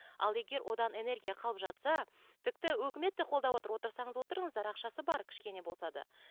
ал одан егер энергия қалып жатса тіпті өкімет те қолдап отыр отырсаңыз отырыңыздар ақшасы бар кішкене болса да